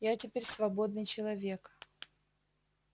я теперь свободный человек